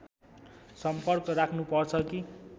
सम्पर्क राख्नु पर्छ कि